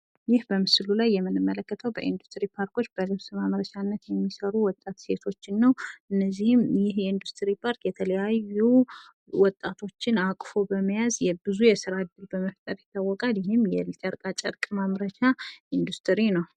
ይህ በምስሉ ላይ የምንመለከተው በኢንዱስትሪ ፓርኮች በልብስ ማምረቻነት የሚሰሩ ወጣት ሴቶን ነው። እነዚህም ይህ የኢንዱስትሪ ፓርክ የተለያዩ ወጣቶችን አቅፎ በመያዝ የብዙ የስራ እድል በመያዝ ይታወቃል። ይህም የጨርቃጨርቅ ማምረቻ ኢንዱስትሪ ነው።